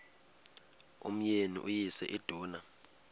umyeni uyise iduna